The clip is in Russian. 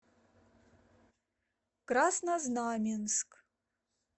краснознаменск